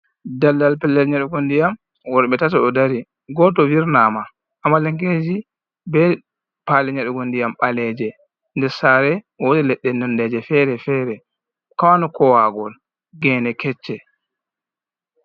Daldal pellel nyeɗugo ndiyam, worɓe tato ɗo dari. Goto virnama, amalankeji be pali nyeɗugo ndiyam ɓaleeje. Nde sare, wodi leɗɗe nondeje fere-fere, kwaano kowagol, gene kecce.